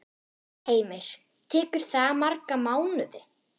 Heimir: Tekur það marga mánuði?